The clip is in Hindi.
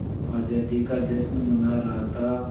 आज़ादी का जश्न मना रहा था